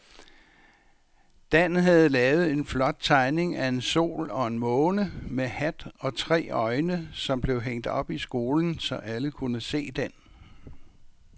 Dan havde lavet en flot tegning af en sol og en måne med hat og tre øjne, som blev hængt op i skolen, så alle kunne se den.